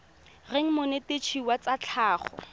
reng monetetshi wa tsa tlhago